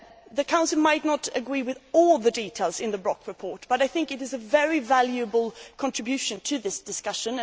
The Council might not agree with all the details in the Brok report, but I think it is a very valuable contribution to this discussion.